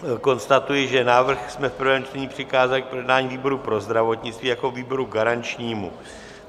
Konstatuji, že návrh jsme v prvém čtení přikázali k projednání výboru pro zdravotnictví jako výboru garančnímu.